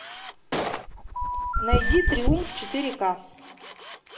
найди триумф четыре ка